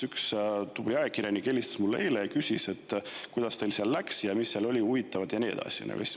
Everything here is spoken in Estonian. Üks tubli ajakirjanik helistas mulle eile ja küsis, kuidas teil seal läks, mis seal oli huvitavat ja nii edasi.